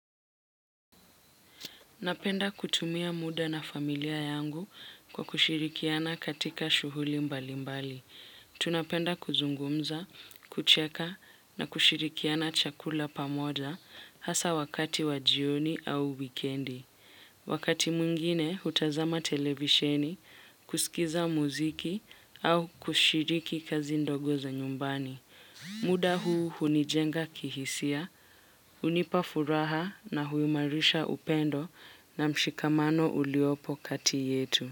Napenda kutumia muda na familia yangu kwa kushirikiana katika shughuli mbali mbali. Tunapenda kuzungumza, kucheka na kushirikiana chakula pamoja hasa wakati wa jioni au wikendi. Wakati mwingine, hutazama televisheni, kusikiza muziki au kushiriki kazi ndogo za nyumbani. Muda huu hunijenga kihisia, hunipa furaha na huimarisha upendo na mshikamano uliopo kati yetu.